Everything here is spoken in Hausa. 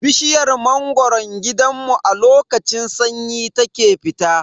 Bishiyar mangoron gidanmu a lokacin sanyi ta ke fita.